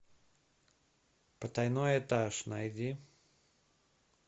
потайной этаж найди